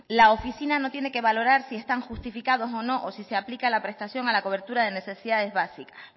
la oficina no tiene que valorar si están justificados o no o si se aplica la prestación a la cobertura de necesidades básicas